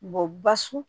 basun